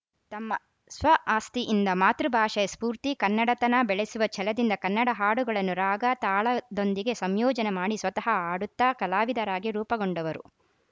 ತಮ್ಮ ಸ್ವಆಸಕ್ತಿಯಿಂದ ಮಾತೃಭಾಷೆಯ ಸ್ಫೂರ್ತಿ ಕನ್ನಡತನ ಬೆಳೆಸುವ ಛಲದಿಂದ ಕನ್ನಡ ಹಾಡುಗಳನ್ನು ರಾಗ ತಾಳದೊಂದಿಗೆ ಸಂಯೋಜನೆ ಮಾಡಿ ಸ್ವತಃ ಹಾಡುತ್ತಾ ಕಲಾವಿದರಾಗಿ ರೂಪಗೊಂಡವರು